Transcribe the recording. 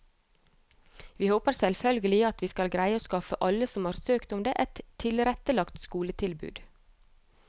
Vi håper selvfølgelig at vi skal greie å skaffe alle som har søkt om det, et tilrettelagt skoletilbud.